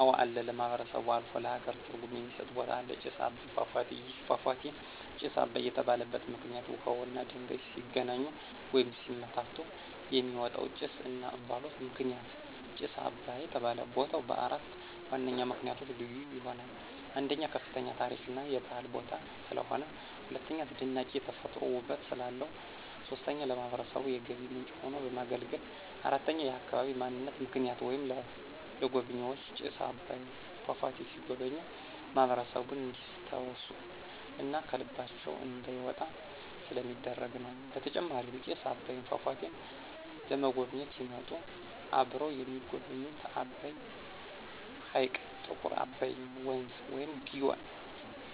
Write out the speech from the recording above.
አወ አለ ለማህበረሰቡ አልፎ ለሃገር ትርጉም የሚስጥ ቦታ አለ። ጭስ አባይ ፏፏቴ። ይህ ፏፏቴ ጭስ አባይ የተባለበት ምክንይት ውሃውና ድንጋዩ ሲገናኙ ወይም ሲመታቱ የሚወጣው ጭስ /እንፍሎት ምክንያት ጭስ አባይ ተባለ። ቦታው በአራት ዋነኛ ምክንያቶች ልዩ ይሆናል። 1, ከፍተኛ የታሪክ እና የባህል ቦታ ስለሆነ። 2, አስደናቂ የተፈጥሮ ውበት ስላለው። 3, ለማህበረሰቡ የገቢ ምንጭ ሆኖ በማገልገሉ። 4, የአካባቢ ማንነት ምልክት ወይም ለጎብኝዎች ጭስ አባይ ፏፏቴ ሲጎበኙ ማህበረሰቡን እንዲስታውሱ እና ከልባቸው እንዳይወጣ ስለሚደረግ ነው። በተጨማሪም ጭስ አባይን ፏፏቴን ለመጎብኝት ሲመጡ አብረው የሚጎበኙት አባይ ሕይቅ፣ ጥቁር አባይ ወንዝ(ግዮን)